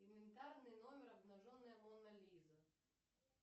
инвентарный номер обнаженная мона лиза